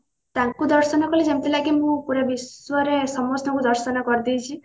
ତାଙ୍କୁ ଦର୍ଶନ କଲେ ଯେମତି ଲାଗେ ମୁଁ ପୁରା ବିଶ୍ଵ ରେ ସମସ୍ତଙ୍କୁ ଦର୍ଶନ କରିଦେଇଛି